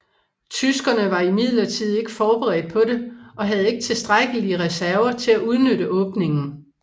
Tyskerne var imidlertid ikke forberedt på det og havde ikke tilstrækkelige reserver til at udnytte åbningen